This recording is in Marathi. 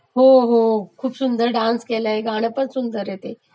हो हो खूप सुंदर डान्स केलाय आणि गाणपण सुंदर आहे ते